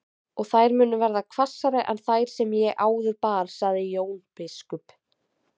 Og þær munu verða hvassari en þær sem ég áður bar, sagði Jón biskup.